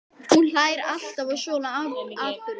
Hún hlær alltaf að svona atburðum.